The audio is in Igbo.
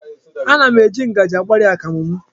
Ana m eji ngaji agbari akamụ m.